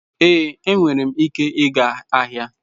Ee, enwere m ike ịga ahịa.